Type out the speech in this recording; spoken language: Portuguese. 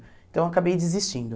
Então eu acabei desistindo.